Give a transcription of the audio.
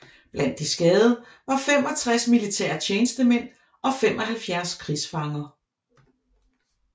Blandt de skadede var 65 militære tjenestemænd og 75 krigsfanger